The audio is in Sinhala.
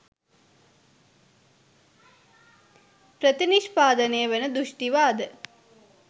ප්‍රතිනිෂ්පාදනය වන දෘෂ්ටිවාද